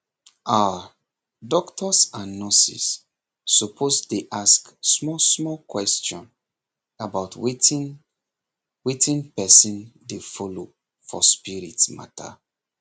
ah doctors and nurses suppose dey ask small small question about wetin wetin person dey follow for spirit matter